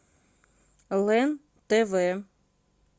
лен тв